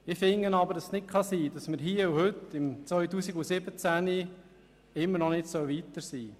Ich finde aber, es könne nicht sein, dass wir hier und heute im Jahr 2017 immer noch nicht weiter sind.